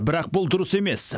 бірақ бұл дұрыс емес